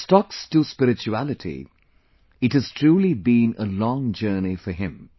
From stocks to spirituality, it has truly been a long journey for him